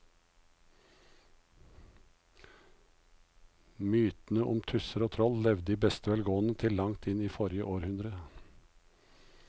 Mytene om tusser og troll levde i beste velgående til langt inn i forrige århundre.